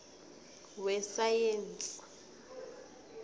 wesayensi